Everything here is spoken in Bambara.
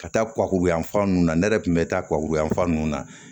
Ka taa kulu yanfan ninnu na ne yɛrɛ tun bɛ taa kuwa fa nun na